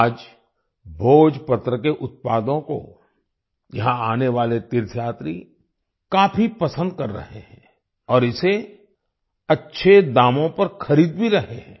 आज भोजपत्र के उत्पादों को यहाँ आने वाले तीर्थयात्री काफी पसंद कर रहे हैं और इसे अच्छे दामों पर खरीद भी रहे हैं